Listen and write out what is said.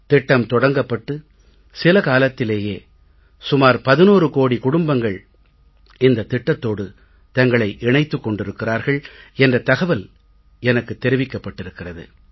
திட்டம் தொடங்கப்பட்டு சில காலத்திலேயே சுமார் 11 கோடி குடும்பங்கள் இந்தத் திட்டத்தோடு தங்களை இணைத்துக் கொண்டிருக்கிறார்கள் என்ற தகவல் எனக்குத் தெரிவிக்கப்பட்டிருக்கிறது